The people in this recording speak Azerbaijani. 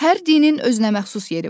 Hər dinin özünəməxsus yeri var.